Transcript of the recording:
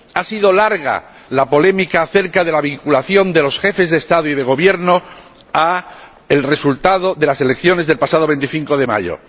Ha sido larga la polémica acerca de la vinculación de los jefes de Estado y de Gobierno al resultado de las elecciones del pasado 25 de mayo.